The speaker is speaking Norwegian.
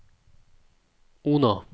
Ona